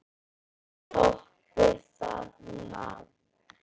Toppið það nafn!